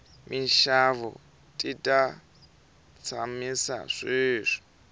minxavo ti ta tshamisa sweswi